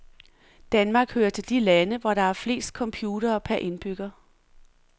Danmark hører til de lande, hvor der er flest computere per indbygger.